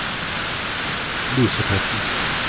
Lysebotn